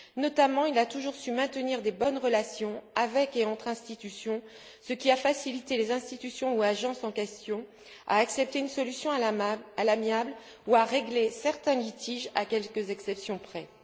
Il a notamment toujours su maintenir de bonnes relations avec et entre les institutions, ce qui a aidé les institutions ou agences en question à accepter une solution à l'amiable ou à régler certains litiges, à quelques exceptions près.